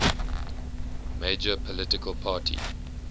major political party